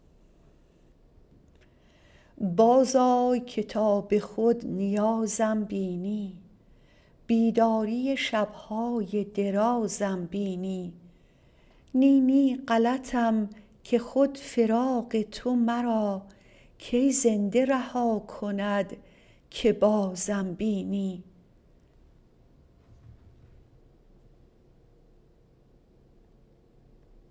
بازآی که تا به خود نیازم بینی بیداری شبهای درازم بینی نی نی غلطم که خود فراق تو مرا کی زنده رها کند که بازم بینی